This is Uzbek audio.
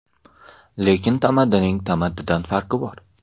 Lekin tamaddining tamaddidan farqi bor.